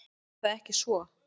Er það ekki svo?